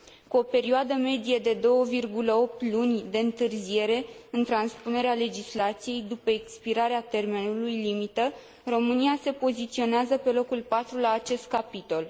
Cu o perioadă medie de 2,8 luni de întârziere în transpunerea legislației după expirarea termenului limită, România se poziționează pe locul patru la acest capitol.